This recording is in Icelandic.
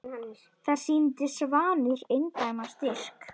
Þar sýndi Svanur eindæma styrk.